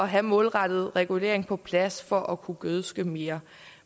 have målrettet regulering på plads for at kunne gødske mere